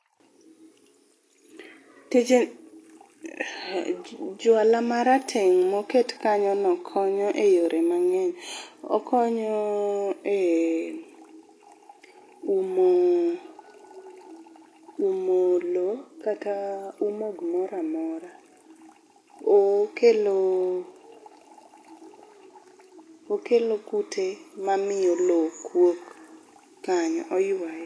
tij juala marateng' moket kanyo no konyo e yore mang'eny. okonyo e umo umo loo kata umo gimoramora. okelo okelo kute mamiyo loo kuok kanyo